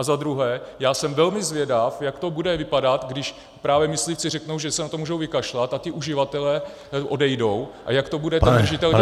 A za druhé, já jsem velmi zvědav, jak to bude vypadat, když právě myslivci řeknou, že se na to můžou vykašlat, a ti uživatelé odejdou, a jak to bude ten držitel dělat?